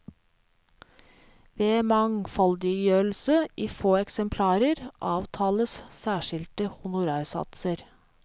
Ved mangfoldiggjørelse i få eksemplarer, avtales særskilte honorarsatser.